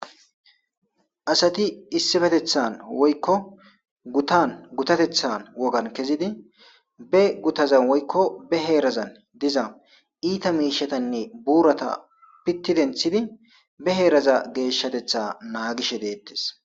Asathi issipetheththan woykko guthan guthatheththan wogan kezidi be guthazan woykko be heerazan diza iitha miishshathanne buuratha piththi denththidi be heeraza geeshshatheththaa naagishe deeththes.